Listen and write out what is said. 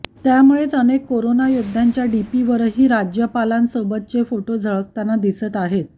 त्यामुळेच अनेक करोनायोद्ध्यांच्या डीपीवरही राज्यपालांसोबतचे फोटो झळकताना दिसत आहेत